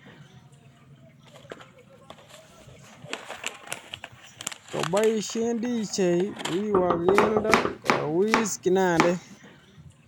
Kopoishen dj wiwa keldo kowis kinandet